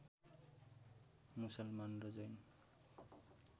मुसलमान र जैन